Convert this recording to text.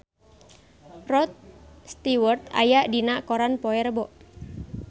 Rod Stewart aya dina koran poe Rebo